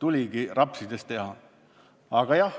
tuligi seda rapsides teha.